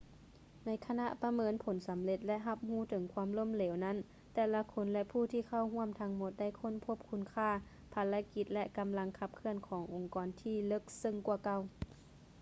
ໃນຂະນະປະເມີນຜົນສຳເລັດ ແລະ ຮັບຮູ້ເຖິງຄວາມລົ້ມເຫລວນັ້ນ ແຕ່ລະຄົນ ແລະ ຜູ້ທີ່ເຂົ້າຮ່ວມທັງໝົດໄດ້ຄົ້ນພົບຄຸນຄ່າ ພາລະກິດ ແລະ ກຳລັງຂັບເຄື່ອນຂອງອົງກອນທີ່ເລິກເຊິ່ງກວ່າເກົ່າ